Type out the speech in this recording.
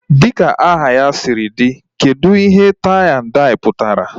Dịka aha ya sịrị dị, kedụ ihe tai na dai pụtara?